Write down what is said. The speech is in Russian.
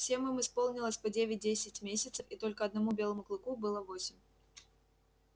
всем им исполнилось по девять десять месяцев и только одному белому клыку было восемь